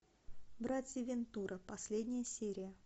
братья вентура последняя серия